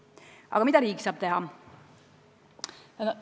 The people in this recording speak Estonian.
Aga mida riik saab teha?